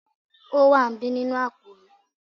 o wa n bi ninu apo mi